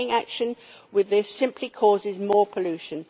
Delaying action on this simply causes more pollution.